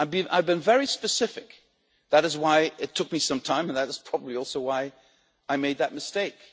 I've been very specific that is why it took me some time, and that is probably also why I made that mistake.